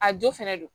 A jo fɛnɛ don